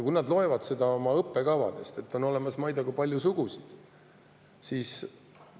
Kui nad loevad oma õppekavast, et on olemas, ma ei tea, kui palju sugusid, siis …